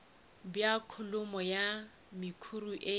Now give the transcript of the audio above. bja kholomo ya mekhuri e